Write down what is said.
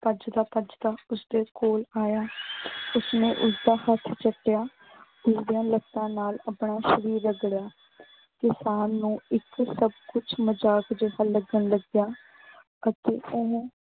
ਭੱਜਦਾ ਭੱਜਦਾ ਉਸਦੇ ਕੋਲ ਆਇਆ। ਉਸਨੇ ਉਸਦਾ ਹੱਥ ਚੱਟਿਆ, ਉਸਦੀਆਂ ਲੱਤਾਂ ਨਾਲ ਆਪਣਾ ਸ਼ਰੀਰ ਰਗੜਿਆ। ਕਿਸਾਨ ਨੂੰ ਇੱਕ ਸਭ ਕੁੱਛ ਮਜ਼ਾਕ ਜਿਹਾ ਲੱਗਣ ਲੱਗਿਆ ਅਤੇ ਉਹੋ